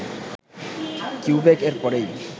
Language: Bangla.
কিউবেক এর পরেই